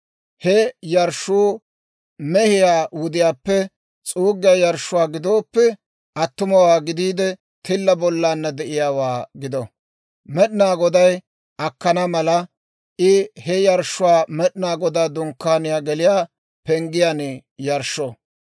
He yarshshuu mehiyaa wudiyaappe s'uuggiyaa yarshshuwaa gidooppe, attumawaa gidiide, tilla bollaanna de'iyaawaa gido. Med'inaa Goday akkana mala, I he yarshshuwaa Med'inaa Godaa Dunkkaaniyaa geliyaa penggiyaan yarshsho.